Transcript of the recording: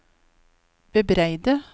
bebreide